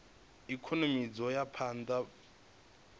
ikonomi dzo ya phanda u